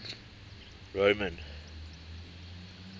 roman